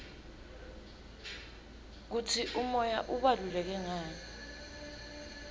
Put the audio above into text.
kutsi umoya ubaluleke ngani